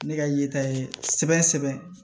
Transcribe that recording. Ne ka yeta ye sɛbɛn sɛbɛn